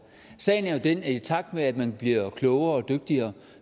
sagen er jo den at i takt med at man bliver klogere og dygtigere